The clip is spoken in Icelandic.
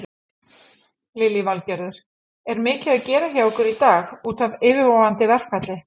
Lillý Valgerður: Er mikið að gera hjá ykkur í dag útaf yfirvofandi verkfalli?